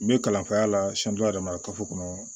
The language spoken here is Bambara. N bɛ kalanfaya la yɛrɛ marakafo kɔnɔ